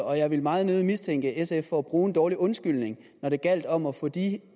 og jeg vil meget nødig mistænke sf for at bruge en dårlig undskyldning når det gælder om at få de